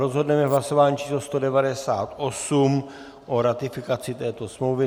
Rozhodneme v hlasování číslo 198 o ratifikaci této smlouvy.